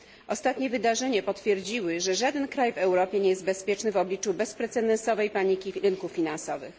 Ostatnie wydarzenia potwierdziły, że żaden kraj w Europie nie jest bezpieczny w obliczu bezprecedensowej paniki rynków finansowych.